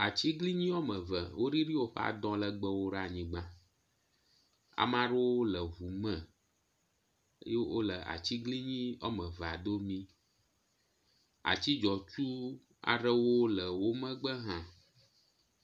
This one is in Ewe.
Atsiglinyi woameve woɖiɖi woƒe adɔ ɖe anyigba. Ame aɖewo le ŋu me wole atsiglinyi woamevea domi. Atsi dzɔtsu aɖewo le womegbe hã.